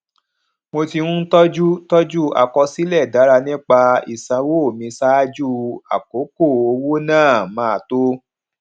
mo ti ń tọjú tọjú àkọsílè dára nípa ìsanwó mi ṣáájú àkókò owó náà máa tó